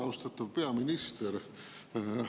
Austatud peaminister!